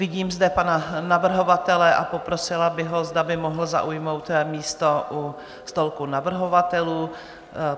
Vidím zde pana navrhovatele a poprosila bych ho, zda by mohl zaujmout místo u stolku navrhovatelů.